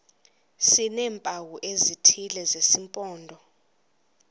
sineempawu ezithile zesimpondo